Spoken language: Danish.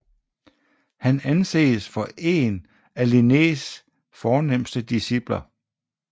Han anses for en af Linnés fornemste discipler